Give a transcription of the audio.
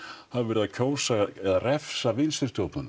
hafa verið að kjósa eða refsa